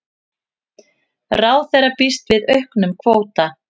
Ráðherra býst við auknum kvóta